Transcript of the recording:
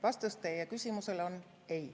Vastus teie küsimusele on ei.